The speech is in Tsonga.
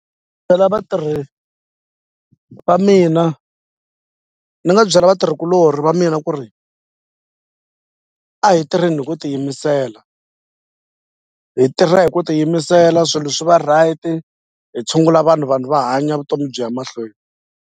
Byela vatirhi va mina ni nga byela vatirhikuloni va mina ku ri a hi tirheni hi ku tiyimisela hi tirha hi ku tiyimisela swilo leswi va right hi tshungula vanhu vanhu va hanya vutomi byi ya mahlweni.